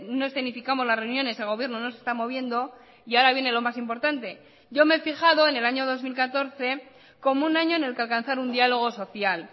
no escenificamos las reuniones el gobierno no se está moviendo y ahora viene lo más importante yo me he fijado en el año dos mil catorce como un año en el que alcanzar un diálogo social